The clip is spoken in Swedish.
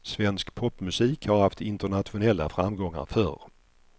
Svensk popmusik har haft internationella framgångar förr.